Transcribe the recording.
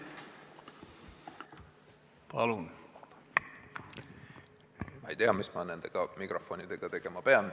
Ma ei tea, mis ma nende mikrofonidega tegema pean.